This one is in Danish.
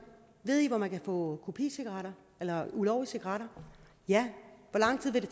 ved i hvor man kan få kopicigaretter ulovlige cigaretter ja hvor lang tid vil